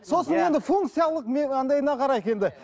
сосын енді функциялық не андайына қарайық енді